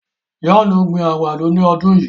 John n gbìn àgbádọ̀ ní ọdún yíí.